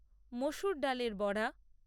মসুর ডালের বড়া